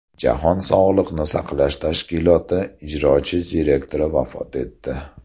Jahon sog‘liqni saqlash tashkiloti ijrochi direktori vafot etdi.